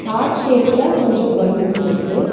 Heart ஷேப்ல கொஞ்சோ balloons இருக்கு.